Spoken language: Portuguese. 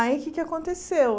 Aí o que é que aconteceu?